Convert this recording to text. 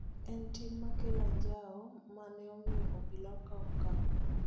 En tim ma kelo anjao ma ne omiyo obila okawo okang�